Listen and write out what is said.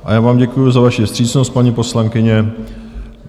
A já vám děkuji za vaši vstřícnost, paní poslankyně.